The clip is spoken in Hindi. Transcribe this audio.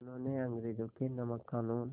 उन्होंने अंग्रेज़ों के नमक क़ानून